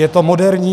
Je to moderní.